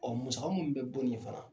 Ɔ musaka minnu bɛ bɔ nin ye fana